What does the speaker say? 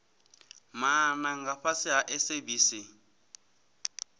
maana nga fhasi ha sabc